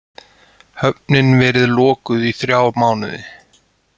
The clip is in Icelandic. Höfnin verið lokuð í þrjá mánuði